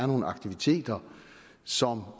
nogle aktiviteter som